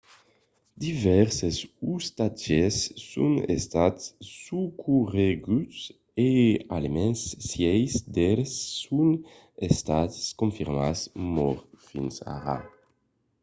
divèrses ostatges son estats socorreguts e almens sièis d'eles son estats confirmats mòrts fins ara